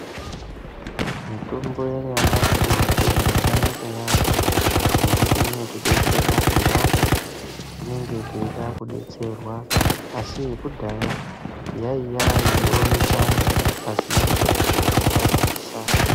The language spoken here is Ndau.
Mitombo yanyamashi mitombo yakanakayaamho inodetsera apo apo patinenge tichida kubetserwa asi yakudhaya yaiya yeiwanikwa pasina muripo watabvisa